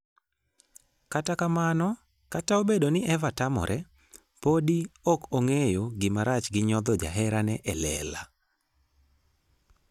Kata kamano, kata obedo ni Eva tamore, podi ok ong'eyo gima rach gi nyodho jaherane e lela.